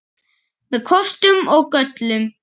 Með kostum og göllum.